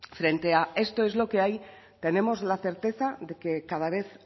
frente a esto es lo que hay tenemos la certeza de que cada vez